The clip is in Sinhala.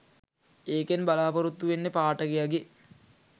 ඒකෙන් බලාපොරොත්තු වෙන්නෙ පාඨකයගෙ